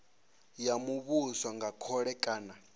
ya muvhuso nga khole kana